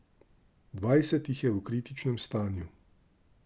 Dvajset jih je v kritičnem stanju.